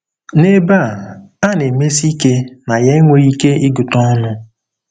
N'ebe a, a na-emesi ike na ya enweghị ike ịgụta ọnụ.